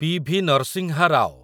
PV. Narasimha Rao